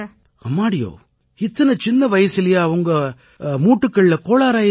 அம்மாடியோவ் இத்தனை சின்ன வயசிலயா உங்க மூட்டுகள்ல கோளாறாயிருச்சு